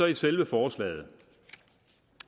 i selve forslaget